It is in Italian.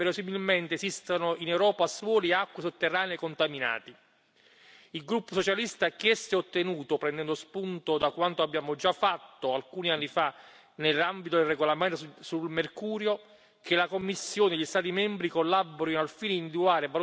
Il gruppo socialista ha chiesto e ottenuto, prendendo spunto da quanto abbiamo già fatto alcuni anni fa nell'ambito del regolamento sul mercurio, che la Commissione e gli Stati membri collaborino al fine di individuare e valutare i siti contaminati da inquinanti organici persistenti.